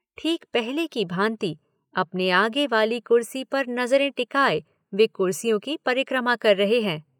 ठीक पहले की भांति अपने आगे वाली कुर्सी पर नजरें टिकाए वे कुर्सियों की परिक्रमा कर रहे हैं।